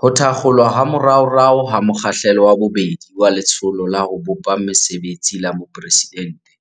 Ho thakgolwa ha moraorao ha mo kgahlelo wa bobedi waLetsholo la ho Bopa Mesebetsi la Boporeside nte